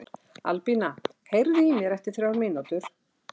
Albína, heyrðu í mér eftir þrjár mínútur.